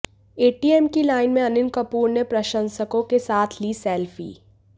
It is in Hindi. एटीएम की लाइन में अनिल कपूर ने अपने प्रशंसकों के साथ ली सेल्फी